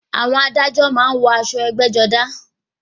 Àwọn adájọ a máa wọ aṣọ ẹgbẹ́-jọdá.